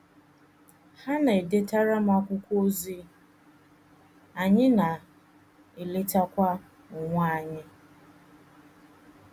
Ha na - edetara m akwụkwọ ozi, anyị na - eletakwa onwe anyị.